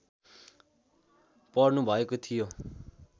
पर्नुभएको थियो